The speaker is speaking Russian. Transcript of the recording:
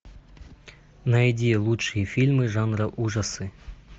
найди лучшие фильмы жанра ужасы